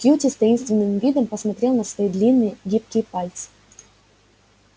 кьюти с таинственным видом посмотрел на свои длинные гибкие пальцы